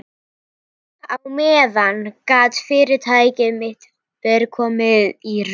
Og á meðan gat fyrirtæki mitt verið komið í rúst.